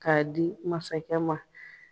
Ka di masakɛ ma.